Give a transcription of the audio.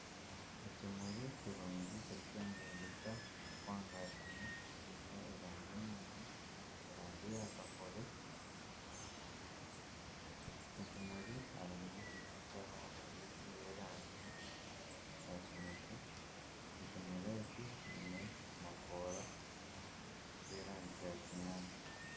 Ekimuri kirungi kirikwegyengyeta kirikwangashana kiine erangi nungi erangi ya kakobe, ekimuri kiriyo nikizaho enjoki y'erangi ya kinekye, ekimuri eki kiine amakoora g'erangi ya kinyaatsi